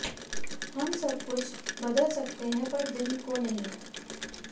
हम सबकुछ बदल सकते हैं पर दिल को नहीं